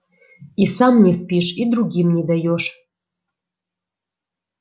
и сам не спишь и другим не даёшь